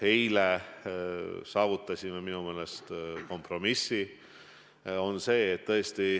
Eile saavutasime minu meelest kompromissi.